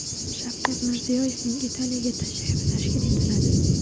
Shavkat Mirziyoyevning Italiyaga tashrifi tashkil etiladi.